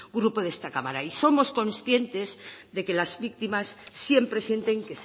grupo de esta cámara y somos conscientes de que las víctimas siempre sienten